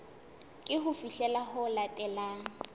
ke ho fihlela ho latelang